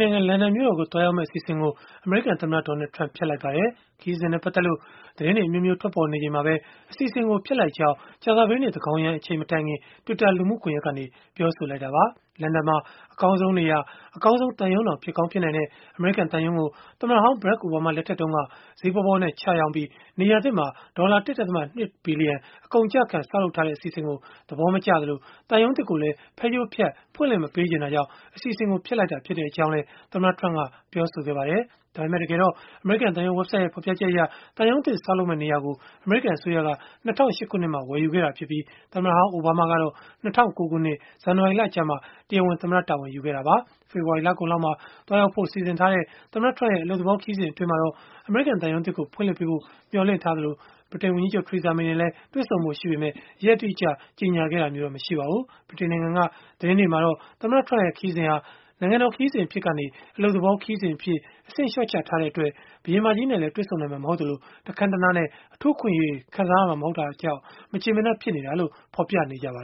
နိုင်ငံ လန်ဒန်မြို့တော်ကို သွားရောက်မယ့် အစီအစဉ်ကို အမေရိကန်သမ္မတ Donald Trump က ဖျက်လိုက်ပါတယ်။ ခရီးစဉ်နဲ့ ပတ်သက်လို့ သတင်းတွေ အမျိုးမျိုး ထွက်ပေါ်နေချိန်မှာပဲ အစီအစဉ်ကို ဖျက်လိုက်ကြောင်း ကြာသပတေးနေ့ သန်းခေါင်ယံအချိန် မတိုင်ခင် Twitter လူမှုကွန်ယက်ကနေ ပြောဆိုလိုက်တာပါ။ လန်ဒန်မှာ အကောင်းဆုံး နေရာ၊ အကောင်းဆုံးသံရုံးတောင် ဖြစ်ကောင်း ဖြစ်နိုင်တဲ့ အမေရိကန်သံရုံးကို သမ္မတဟောင်း Barack Obama လက်ထက်တုန်းက ဈေးပေါပေါနဲ့ ချရောင်းပြီး၊ နေရာသစ်မှာ ဒေါ်လာ ၁.၂ ဘီလီယံ အကုန်ခံပြီး ဆောက်ထားတဲ့ အစီအစဉ်ကို သဘောမကျသလို၊ သံရုံးသစ်ကိုလည်း ဖဲကြိုးဖြတ် ဖွင့်လှစ်မပေးချင်တာကြောင့် အစီအစဉ်ကို ဖျက်လိုက်ရတာ ဖြစ်ကြောင်းလည်း သမ္မတ Trump ကပြောဆိုခဲ့ပါတယ်။ အမေရိကန်သံရုံး ဝဘ်ဆိုဒ်ရဲ့ ဖော်ပြချက်အရ၊ သံရုံးသစ် ဆောက်လုပ်မယ့် နေရာကို အမေရိကန်အစိုးရက ၂၀၀၈ ခုနှစ်မှာ ဝယ်ယူခဲ့တာဖြစ်ပြီး၊ သမ္မတဟောင်း အိုဘားမားကတော့ ၂၀၀၉ ခုနှစ် ဇန်နဝါရီလကျမှ တရားဝင် သမ္မတတာဝန်ယူခဲ့တာပါ။ ဖေဖော်ဝါရီ လကုန်လောက်မှာ သွားရောက်ဖို့ စီစဉ်ထားတဲ့ သမ္မတ Trump ရဲ့ အလုပ်သဘော ခရီးစဉ်အတွင်းမှာတော့ အမေရိကန်သံရုံးသစ်ကို ဖွင့်လှစ်ပေးဖို့ မျှော်လင့်ထားသလို၊ ဗြိတိန်ဝန်ကြီးချုပ် Theresa May နဲ့လည်း တွေ့ဆုံဖို့ ရှိပေမဲ့ ရက်အတိအကျ ကြေညာထားတာမျိုးတော့ မရှိပါဘူး။ ဗြိတိန်နိုင်ငံက သတင်းတွေမှာတော့ သမ္မတ Trump ရဲ့ ခရီးစဉ်ဟာ နိုင်ငံတော် ခရီးစဉ်အဖြစ်ကနေ အလုပ်သဘော ခရီးစဉ်အဖြစ် အဆင့်လျှော့ချထားတဲ့အတွက် ဘုရင်မကြီးနဲ့လည်း တွေ့ဆုံနိုင်မှာ မဟုတ်သလို၊ တခန်းတနားနဲ့ အထူးအခွင့်အရေးတွေ ခံစားရမှာမဟုတ်တဲ့အတွက် မကျေမနပ် ဖြစ်နေတာလို့ ဖော်ပြနေကြတာပါ